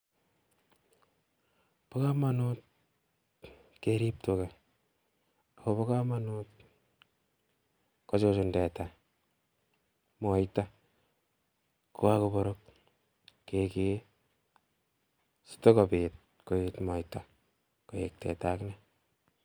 Bo komonut keerib tugaa, ak bo komonut kochuchun teta moita, kokakobeek kekee, asikobiit koyeet moita